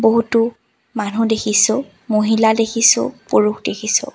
বহুতো মানুহ দেখিছোঁ মহিলা দেখিছোঁ পুৰুষ দেখিছোঁ।